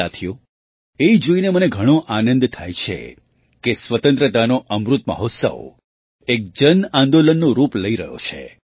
સાથીઓ એ જોઈને મને ઘણો આનંદ થાય છે કે સ્વતંત્રતાનો અમૃત મહોત્સવ એક જન આંદોલનનું રૂપ લઈ રહ્યો છે